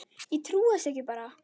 Ég trúði þessu bara ekki.